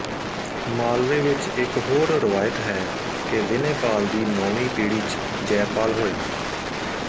ਮਾਲਵੇ ਵਿੱਚ ਇੱਕ ਹੋਰ ਰਵਾਇਤ ਹੈ ਕਿ ਵਿਨੈਪਾਲ ਦੀ ਨੌਵੀਂ ਪੀੜੀ ਚ ਜੈਪਾਲ ਹੋਇਆ